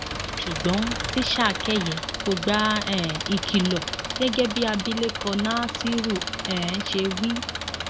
ṣùgbọn tíṣà kẹyẹ kò gba um ìkìlọ gẹgẹ bí abilékọ nasiru um ṣe wí